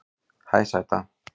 Hæ sæta